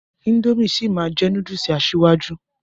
Índòmí sí máa jẹ núdùùsì asíwájú.